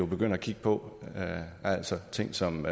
begynde at kigge på altså ting som